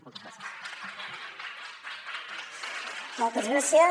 moltes gràcies